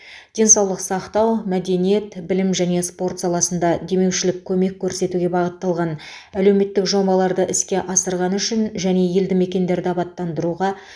денсаулық сақтау мәдениет білім және спорт саласында демеушілік көмек көрсетуге бағытталған әлеуметтік жобаларды іске асырғаны үшін және елді мекендерді абаттандыруға